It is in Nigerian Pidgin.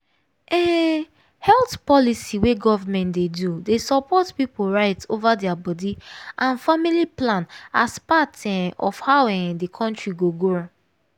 um health policy wey government dey do dey support people right over their body and family plan as part um of how um the country go grow